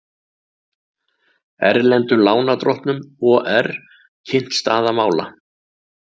Erlendum lánardrottnum OR kynnt staða mála